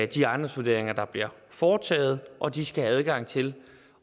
de ejendomsvurderinger der bliver foretaget og de skal have adgang til